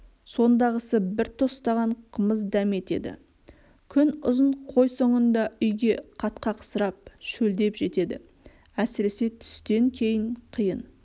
сондағысы бір тостаған қымыз дәметеді күнұзын қой соңында үйге қатқақсырып шөлдеп жетеді әсіресе түстен кейін қиын